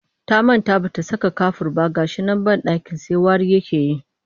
Ta manta ba ta saka kafur ba ga shi nan banɗakin sai wari yake yi